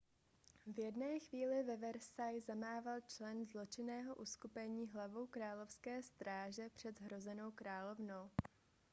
v jedné chvíli ve versailles zamával člen zločinného uskupení hlavou královské stráže před zhrozenou královnou